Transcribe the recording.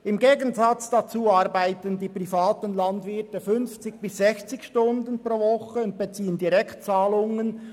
Im Gegensatz dazu arbeiten die privaten Landwirte 50 bis 60 Stunden pro Woche und beziehen Direktzahlungen.